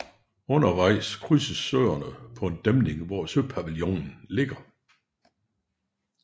Undervejs krydses Søerne på en dæmning hvor Søpavillonen ligger